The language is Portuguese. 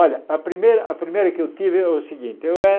Olha, a primeira a primeira que eu tive é o seguinte. Eu